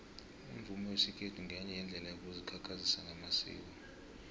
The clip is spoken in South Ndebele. umvumo wesikhethu ngenye yeendlela yokuzikhakhazisa ngamasiko